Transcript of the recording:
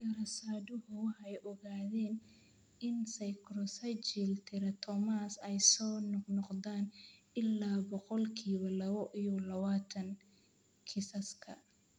Daraasaduhu waxay ogaadeen in sacrococcygeal teratomas ay soo noqnoqdaan ilaa boqolkiba lawo iyo lawatan kiisaska.